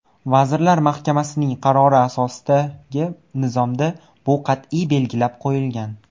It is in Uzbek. Vazirlar Mahkamasining qarori asosidagi nizomda bu qat’iy belgilab qo‘yilgan.